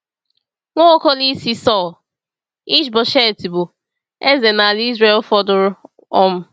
Nwa Okolo Isi Sàụl, Ish-bosheth, bụ eze n’ala Izrel fọdụrụ. um